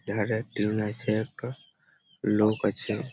দেখা যায় এখানে আছে একটা লোক আছে।